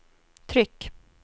tryck